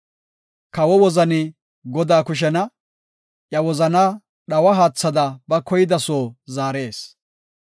Kawo wozani Godaa kushena; iya wozanaa dhawa haathada ba koyida soo zaarees.